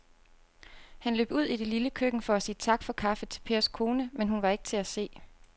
Han løb ud i det lille køkken for at sige tak for kaffe til Pers kone, men hun var ikke til at se.